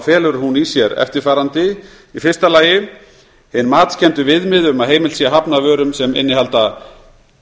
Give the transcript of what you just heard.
felur hún í sér eftirfarandi fyrsta hin matskenndu viðmið um að heimilt sé að hafna vörum sem innihalda